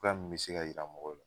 Ga nuw be se ka yira mɔgɔw la